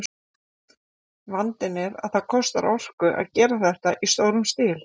Vandinn er að það kostar orku að gera þetta í stórum stíl.